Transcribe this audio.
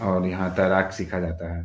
और यहाँ तैराक सीखा जाता है।